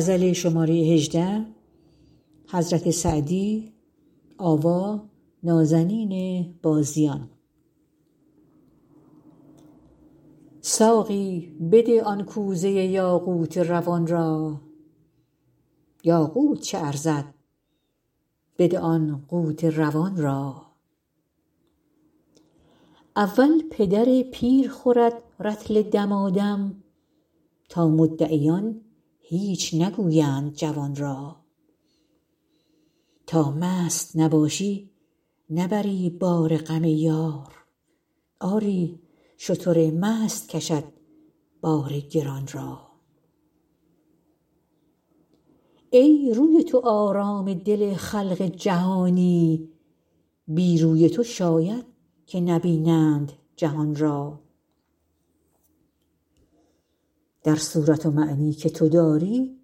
ساقی بده آن کوزه یاقوت روان را یاقوت چه ارزد بده آن قوت روان را اول پدر پیر خورد رطل دمادم تا مدعیان هیچ نگویند جوان را تا مست نباشی نبری بار غم یار آری شتر مست کشد بار گران را ای روی تو آرام دل خلق جهانی بی روی تو شاید که نبینند جهان را در صورت و معنی که تو داری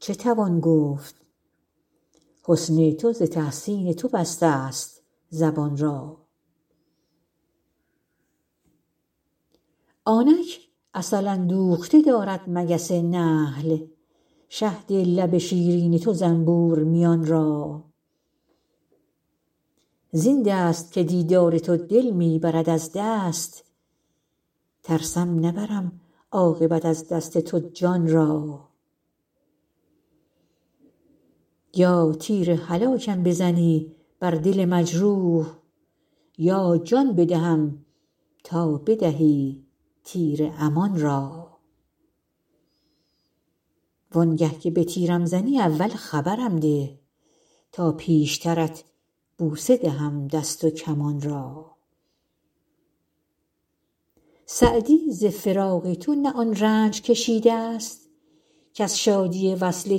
چه توان گفت حسن تو ز تحسین تو بستست زبان را آنک عسل اندوخته دارد مگس نحل شهد لب شیرین تو زنبور میان را زین دست که دیدار تو دل می برد از دست ترسم نبرم عاقبت از دست تو جان را یا تیر هلاکم بزنی بر دل مجروح یا جان بدهم تا بدهی تیر امان را وان گه که به تیرم زنی اول خبرم ده تا پیشترت بوسه دهم دست و کمان را سعدی ز فراق تو نه آن رنج کشیدست کز شادی وصل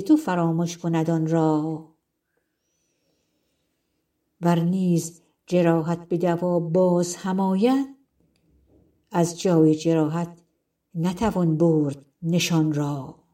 تو فرامش کند آن را ور نیز جراحت به دوا باز هم آید از جای جراحت نتوان برد نشان را